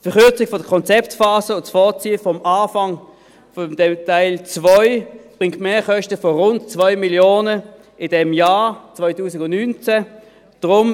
Die Verkürzung der Konzeptphase und das Vorziehen des Anfangs von Teil 2 bringt Mehrkosten von rund 2 Mio. Franken in diesem Jahr, 2019.